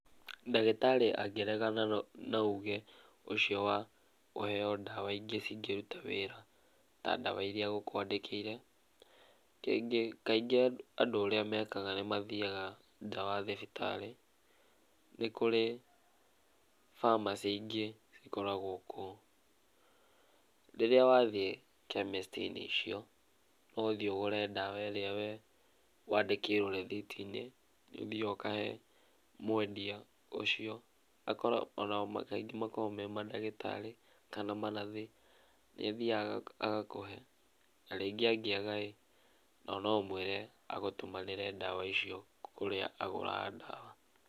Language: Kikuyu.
Ndagĩtarĩ angĩregana na uge, ũcio wa, kũheo ndawa ingĩ cingĩruta wĩra, ta ndawa iria agũkwandĩkĩire, kĩngĩ kaingĩ andũ ũrĩa mekaga nĩ mathiaga nja wa thibitarĩ. Nĩ kũrĩ, pharmacy ingĩ cikoragwo kũu. Rĩrĩa wathiĩ chemist -inĩ icio, no ũthiĩ ũgũre ndawa ĩrĩa we wandĩkĩirwo rĩthiti-inĩ, nĩ ũthiaga ũkahe, mwendia ũcio, ona kaingĩ makoragwo me mandagĩtarĩ, kana manathi. Nĩ athiaga agakũhe. Na rĩngĩ angĩaga ĩ, no no ũmwĩre agũtũmanĩre ndawa icio kũrĩa agũraga ndawa.